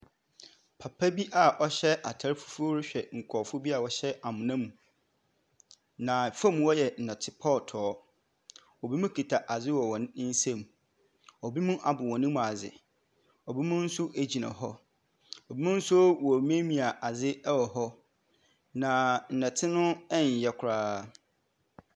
Papa bi a ɔhyɛ atar fufuo rehwɛ nkurɔfoɔ bi a wɔhyɛ amena mu, na fam hɔ yɛ nnɔte pɔɔtɔɔ. Ebinom kuta adze wɔ hɔn nsam. Ebinom abɔ hɔn mu adze. Ebinom nso gyina hɔ. Ebinom nso wɔremiamia adze wɔ hɔ, na nnɔte no nnyɛ koraa.